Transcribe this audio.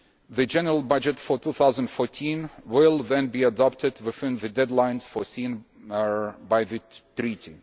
The general budget for 2014 will thus be adopted within the deadlines foreseen by the Treaty.